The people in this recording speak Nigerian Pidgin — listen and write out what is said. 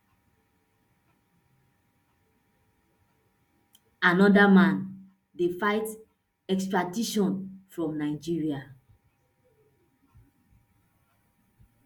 anoda man dey fight extradition from nigeria